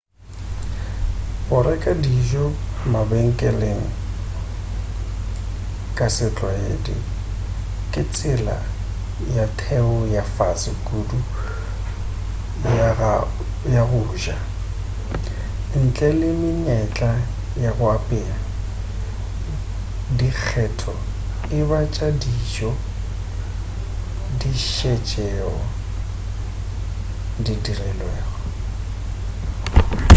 go reka dijo mabenkeleng ka setlwaedi ke tsela ya theko ya fase kudu ya go ja ntle le menyetla ya go apea dikgetho e ba tša dijo di šetšego di dirilwe